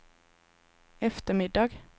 eftermiddag